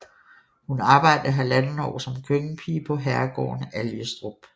Hun arbejdede halvandet år som køkkenpige på herregården Algestrup